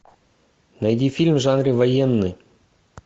найди фильм в жанре военный